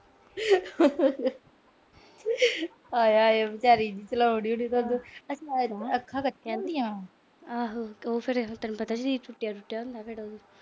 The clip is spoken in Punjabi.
ਆਏ-ਹਾਏ ਵਿਚਾਰੀ ਚਲਾਉਣ ਡਈ। ਅੱਖਾਂ ਕੱਚੀਆਂ ਉਹਦੀਆਂ। ਆਹੋ ਤੈਨੂੰ ਪਤਾ ਈ ਸਰੀਰ ਟੁੱਟਿਆ-ਟੁੱਟਿਆ ਹੁੰਦਾ।